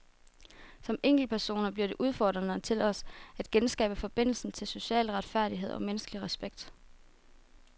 Som enkeltpersoner bliver det udfordringen til os at genskabe forbindelsen til social retfærdighed og menneskelig respekt.